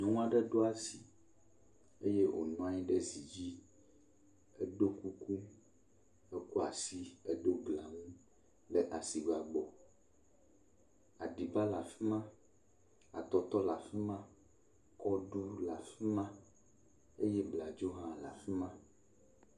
Nyɔnu ɖe ɖo asi eye wònɔ anyi ɖe zi dzi. Eɖo kuku. Ekpla asi. Edo gonu le asigba gbɔ. Aɖiba le fi ma, atɔtɔ le afi ma, kɔɖu le afi ma eye bladzo hã le afi ma.